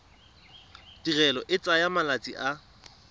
tirelo e tsaya malatsi a